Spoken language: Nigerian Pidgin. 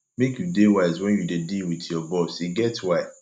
make you dey wise wen you dey deal wit your boss e get why